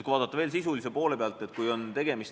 Vaatame veel sisulise poole pealt.